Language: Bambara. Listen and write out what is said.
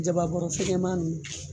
Jaba bɔrɛ fɛgɛman ninnu